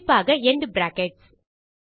குறிப்பாக and brackets